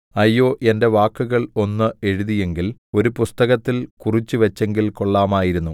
അയ്യോ എന്റെ വാക്കുകൾ ഒന്ന് എഴുതിയെങ്കിൽ ഒരു പുസ്തകത്തിൽ കുറിച്ചുവച്ചെങ്കിൽ കൊള്ളാമായിരുന്നു